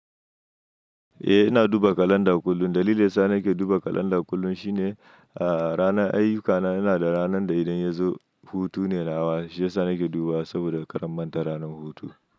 Eh ina duba kalanda kullum. Dalilin dayasa nake duba kalanda kullum shine ranar ayyukana ina da ranar da idan ya zo hutu ne nawa. Shi ya sa nake duba saboda kar in manta ranar hutu.